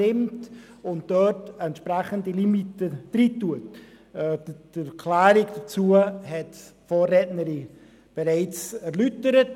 Die Argumente dafür hat die Vorrednerin bereits erläutert.